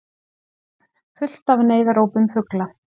Þögn, full af neyðarópum fugla.